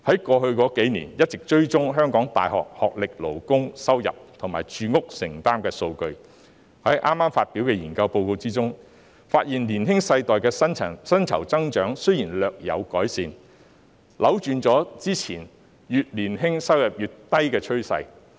過去數年，我們一直追蹤香港各世代大學學歷勞工收入及住屋承擔能力的數據，而剛發表的研究報告發現，年輕世代的薪酬增長雖然略有改善，扭轉了過去越年青收入越低的趨勢。